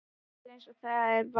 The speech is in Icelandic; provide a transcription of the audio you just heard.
Það er eins og það er og var.